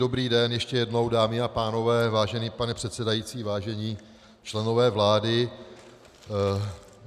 Dobrý den ještě jednou, dámy a pánové, vážený pane předsedající, vážení členové vlády.